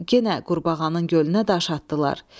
yenə qurbağanın gölünə daş atdılar.